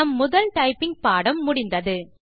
நம் முதல் டைப்பிங் பாடம் முடிந்தது